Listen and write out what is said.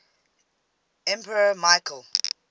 emperor michael